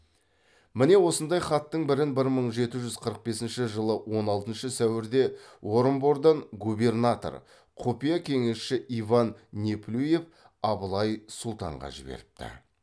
міне осындай хаттың бірін бір мың жеті жүз қырық бесінші жылы он алтыншы сәуірде орынбордан губернатор құпия кеңесші иван неплюев абылай сұлтанға жіберіпті